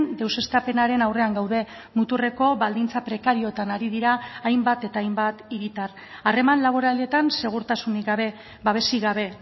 deuseztapenaren aurrean gaude muturreko baldintza prekarioetan ari dira hainbat eta hainbat hiritar harreman laboraletan segurtasunik gabe babesik gabe